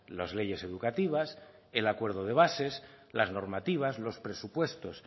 las leyes educativas el acuerdo de bases las normativas los presupuestos